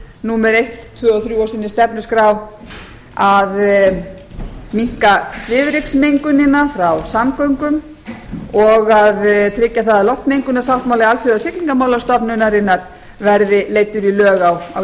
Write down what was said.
númer eitt tvö og þrjú á sinni stefnuskrá að minnka svifryksmengunina frá samgöngum og tryggja það að loftmengunarsáttmáli alþjóðasiglingamálastofnunarinnar verði leiddur í lög á